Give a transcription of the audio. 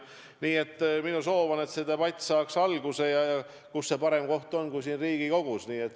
Nii et minu soov on, et see debatt saaks alguse, ja kus võiks olla selleks parem koht kui Riigikogu.